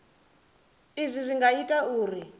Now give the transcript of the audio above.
izwi zwi nga ita uri